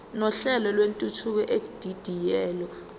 nohlelo lwentuthuko edidiyelwe